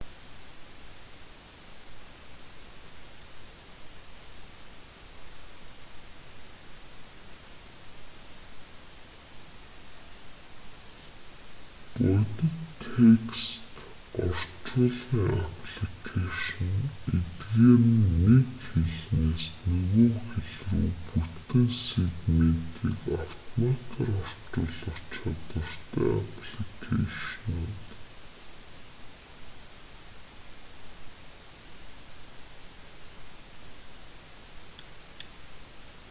бодит текст орчуулгын апликэйшн эдгээр нь нэг хэлнээс нөгөө хэл рүү бүтэн сегментийг автоматаар орчуулах чадвартай апликэйшнууд